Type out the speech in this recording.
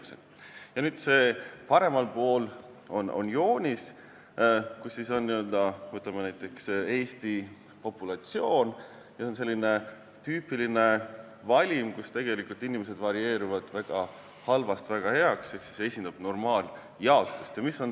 Selle slaidi paremal pool on joonis, kus on näiteks Eesti populatsioon ja siis on selline tüüpiline valim, kus tegelikult inimesed varieeruvad väga halvast väga heaks, ehk siis see esindab normaaljaotust.